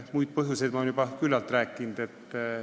Muid põhjuseid olen ma juba küllalt selgitanud.